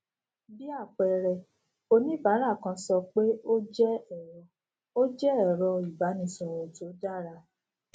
bí àpẹẹrẹ oníbàárà kan sọ pé ó jé èrọ ó jé èrọ ìbánisòrò tó dára